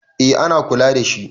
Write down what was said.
eh ana kula da shi